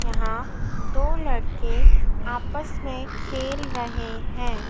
यहां दो लड़के आपस में खेल रहे हैं।